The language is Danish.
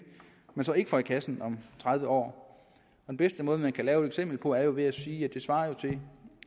man så ikke får i kassen om tredive år den bedste måde man kan lave et eksempel på er ved at sige at det svarer til